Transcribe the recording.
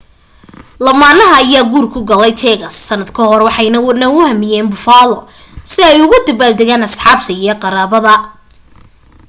lamaanaha ayaa guur ku galay texas sanad ka hor waxay na u yimaadeen buffalo si ay ula dabaal degaan asxaabta iyo qaraabada